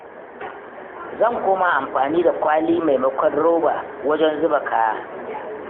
Zan koma amfani da kwali maimakon roba wajen zuba kaya.